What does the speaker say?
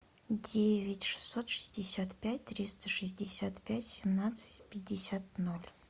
девять шестьсот шестьдесят пять триста шестьдесят пять семнадцать пятьдесят ноль